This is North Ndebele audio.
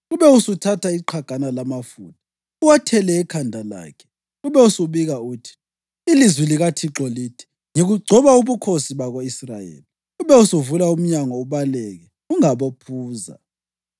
Ube usuthatha iqhagana lamafutha uwathele ekhanda lakhe, ube usubika uthi, ‘Ilizwi likaThixo lithi: Ngikugcoba ubukhosi bako-Israyeli.’ Ube usuvula umnyango ubaleke; ungabophuza!”